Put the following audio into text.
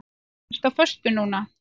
Ertu á föstu núna?